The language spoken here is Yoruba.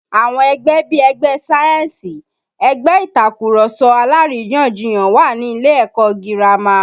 Àwọn ẹgbẹ́ bí ẹgbẹ́ sáyẹ́ǹsì, ẹgbẹ́ Ìtàkurọ̀sọ alárìyanjiyàn wà ní ilé ẹ̀kọ́ girama